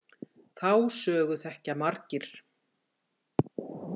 Þá sögu þekkja margir.